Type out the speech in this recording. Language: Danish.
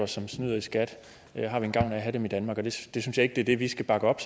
som snyder i skat jeg synes ikke det er det vi skal bakke op